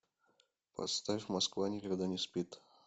поставь москва никогда не спит